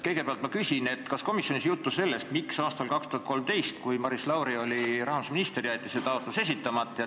Kõigepealt ma küsin, kas komisjonis oli juttu sellest, miks aastal 2013, kui Maris Lauri oli rahandusminister, jäeti see taotlus esitamata.